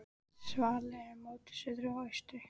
Svalir eru móti suðri og austri.